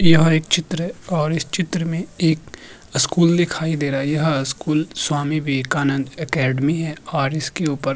यह एक चित्र है और इस चित्र में एक स्कूल दिखाई दे रहा है यह स्कूल स्वामी विवेकान्द एकडमी है और इसके ऊपर --